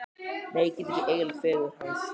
Nei, ég gat ekki eyðilagt fegurð hans.